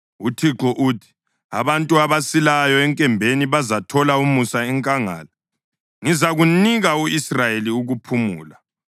UThixo uthi: “Abantu abasilayo enkembeni bazathola umusa enkangala; ngizakuzanika u-Israyeli ukuphumula.”